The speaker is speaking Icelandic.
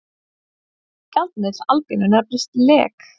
Gjaldmiðill Albaníu nefnist lek.